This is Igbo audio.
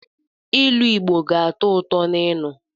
Ilu Igbo ga-atọ ụtọ ịnụ.